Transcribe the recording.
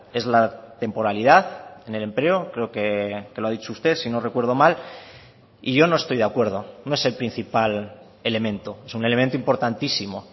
es la temporalidad en el empleo creo que lo ha dicho usted si no recuerdo mal y yo no estoy de acuerdo no es el principal elemento es un elemento importantísimo